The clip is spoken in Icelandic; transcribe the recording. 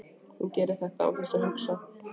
Hún gerir þetta án þess að hugsa.